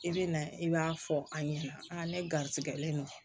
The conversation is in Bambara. I bɛ na i b'a fɔ a ɲɛna aa ne garisigɛlen don